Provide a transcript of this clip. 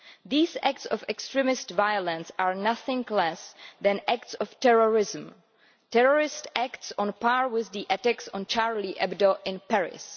These acts of extremist violence are nothing less than acts of terrorism, terrorist acts on a par with the attacks on Charlie Hebdo in Paris.